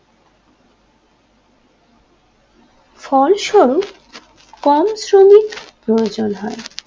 ফলস্বরূপ কম শ্রমিক প্রয়োজন হয়